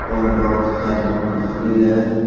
और बहुत सारी कुर्सी है।